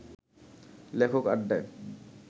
লেখক আড্ডায়